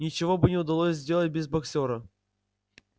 ничего бы не удалось сделать без боксёра